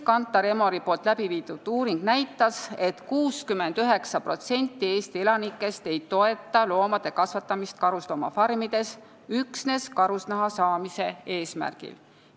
Kantar Emori novembris tehtud uuring näitas, et 69% Eesti elanikest ei toeta loomade kasvatamist karusloomafarmides üksnes karusnaha saamise eesmärgil.